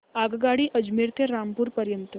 आगगाडी अजमेर ते रामपूर पर्यंत